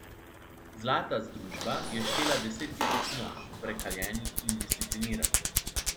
Zlata združba je štela deset tisoč mož, prekaljenih in discipliniranih.